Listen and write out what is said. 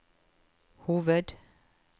hoved